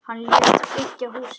Hann lét byggja húsið.